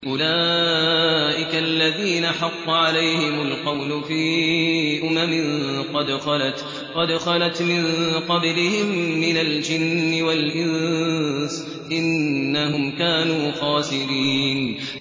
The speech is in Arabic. أُولَٰئِكَ الَّذِينَ حَقَّ عَلَيْهِمُ الْقَوْلُ فِي أُمَمٍ قَدْ خَلَتْ مِن قَبْلِهِم مِّنَ الْجِنِّ وَالْإِنسِ ۖ إِنَّهُمْ كَانُوا خَاسِرِينَ